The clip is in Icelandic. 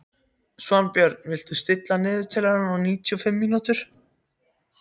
Svanbjörn, stilltu niðurteljara á níutíu og fimm mínútur.